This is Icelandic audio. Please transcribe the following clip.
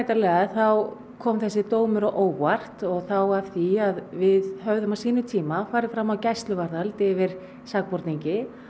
kom þessi dómur á óvart og þá af því að við höfðum á sínum tíma farið fram á gæsluvarðhald yfir sakborningi og það var fallist á